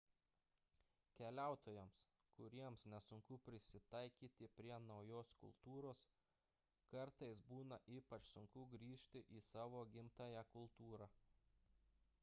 keliautojams kuriems nesunku prisitaikyti prie naujos kultūros kartais būna ypač sunku grįžti į savo gimtąją kultūrą